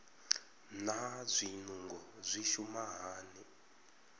naa zwinungo zwi shuma hani